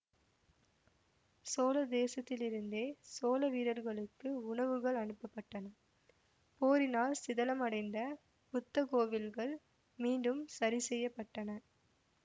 சோழ தேசத்திலிருந்தே சோழ வீரர்களுக்கு உணவுகள் அனுப்பபட்டன போரினால் சிதலமடைந்த புத்த கோவில்கள் மீண்டும் சரிசெய்யப்பட்டன